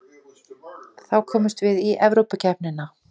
Þá komumst við í Evrópukeppnina